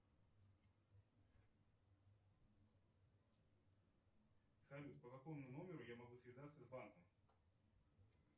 салют по какому номеру я могу связаться с банком